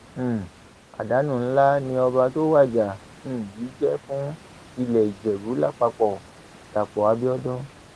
um àdánù ńlá ni ọba tó wájà um yìí jẹ fún ilé ìjẹbù lápapọdàpọ abiodun